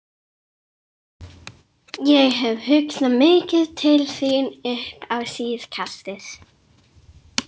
Ég hef hugsað mikið til þín upp á síðkastið.